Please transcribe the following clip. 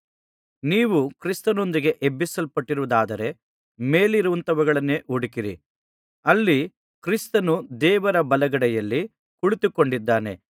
ನೀವು ಕ್ರಿಸ್ತನೊಂದಿಗೆ ಎಬ್ಬಿಸಲ್ಪಟ್ಟಿರುವುದಾದರೆ ಮೇಲಿನವುಗಳನ್ನೇ ಹುಡುಕಿರಿ ಅಲ್ಲಿ ಕ್ರಿಸ್ತನು ದೇವರ ಬಲಗಡೆಯಲ್ಲಿ ಕುಳಿತುಕೊಂಡಿದ್ದಾನೆ